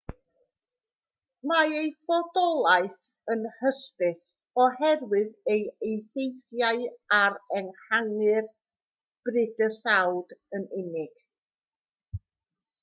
mae ei fodolaeth yn hysbys oherwydd ei effeithiau ar ehangu'r bydysawd yn unig